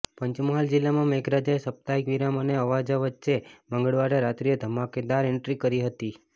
પંચમહાલ જિલ્લામાં મેઘરાજાએ સાપ્તાહિક વિરામ અને આવજા વચ્ચે મંગળવારે રાત્રીએ ધમાકેદાર એન્ટ્રી કરી હતી